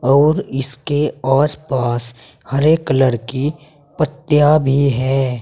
और इसके आस पास हरे कलर की पत्तियां भी हैं।